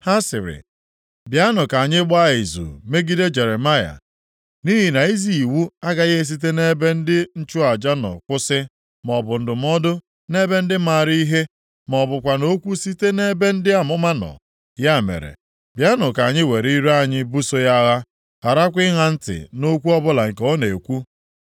Ha sịrị, “Bịanụ ka anyị gbaa izu megide Jeremaya, nʼihi na izi iwu agaghị esite nʼebe ndị nchụaja nọ kwụsị, maọbụ ndụmọdụ nʼebe ndị maara ihe, ma ọ bụkwanụ okwu site nʼebe ndị amụma nọ. Ya mere, bịanụ ka anyị were ire anyị buso ya agha, + 18:18 Maọbụ, gwajuo ya okwu afọ gharakwa ịṅa ntị nʼokwu ọbụla nke ọ na-ekwu.”